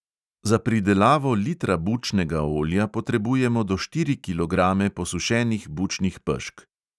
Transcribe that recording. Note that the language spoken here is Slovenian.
Za pridelavo litra bučnega olja potrebujemo do štiri kilograme posušenih bučnih pešk.